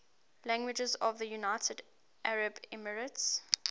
languages of the united arab emirates